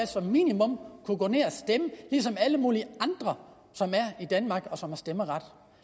som minimum kunne gå ned og stemme ligesom alle mulige andre i danmark som har stemmeret